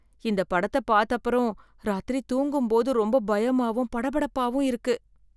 இந்த படத்தை பார்த்தப்புறம், ராத்திரி தூங்கும்போது ரொம்ப பயமாவும் படபடப்பாவும் இருக்கு.